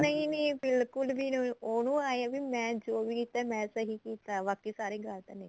ਨਹੀਂ ਨਹੀਂ ਬਿਲਕੁਲ ਵੀ ਨਹੀਂ ਉਹਨੂੰ ਏ ਏ ਵੀ ਮੈਂ ਜੋ ਵੀ ਕੀਤਾ ਮੈਂ ਸਹੀ ਸੀ ਬਾਕੀ ਸਾਰੇ ਗਲਤ ਨੇ